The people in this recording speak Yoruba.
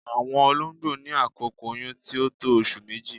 Awọn ọ̀lọ̀gbọ̀ ní àkókò oyún tí o tó ọṣù mẹ́jì.